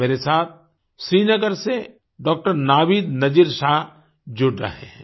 मेरे साथ श्रीनगर से डॉक्टर नावीद नजीर शाह जुड़ रहे हैं